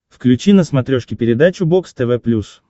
включи на смотрешке передачу бокс тв плюс